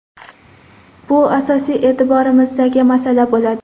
Bu asosiy e’tiborimizdagi masala bo‘ladi.